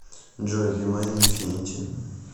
джой би майн инфинити